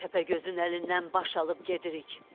Təpəgözün əlindən baş alıb gedirik.